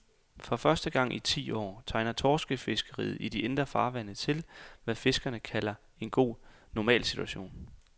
For første gang i ti år tegner torskefiskeriet i de indre farvande til, hvad fiskerne kalder en god normalsituation.